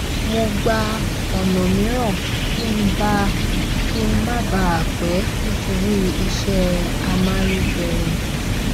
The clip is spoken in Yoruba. mo gba ònà mìíràn kí n má bà a pé nítorí iṣẹ amáyédẹrùn